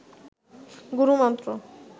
গুরু মন্ত্র